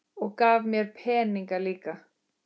Og gaf mér peninga líka.